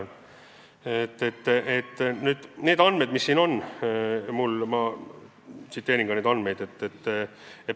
Ma tsiteerin teile andmeid, mis mul on.